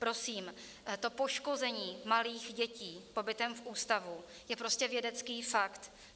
Prosím, to poškození malých dětí pobytem v ústavu je prostě vědecký fakt.